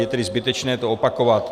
Je tedy zbytečné to opakovat.